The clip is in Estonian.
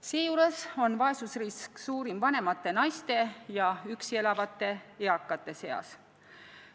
Seejuures on vaesusrisk suurim vanemate naiste ja üksi elavate eakate seas.